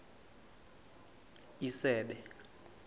isebe